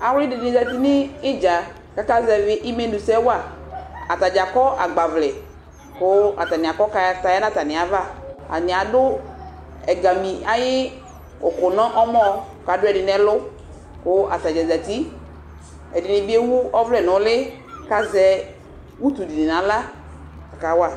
Awlɩdɩnɩ zatɩ nʊ idza kʊ aka zɛvɩ ɩmenʊsɛ wa atanɩ akɔ agbavlɛ kʊ atanɩ aka kataya nʊ ava atanɩ adʊ ɛgamɩ ayʊ ʊkʊ nʊ ɔmɔ adʊ ɛdɩnɩ ɛlʊ kʊ atanɩ zatɩ ɛdɩnɩbɩ ewʊ ɔvlɛ nʊ ʊlɩ kʊ azɛ ʊtʊdini nʊ axla kawa